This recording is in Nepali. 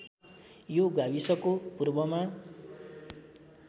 यो गाविसको पूर्वमा